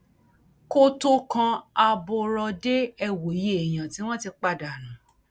kó tóó kan aborọdé ẹ wòye èèyàn tí wọn ti pàá dànù